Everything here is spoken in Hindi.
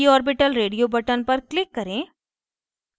p orbital radio button पर click करें